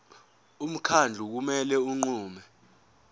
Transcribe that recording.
umkhandlu kumele unqume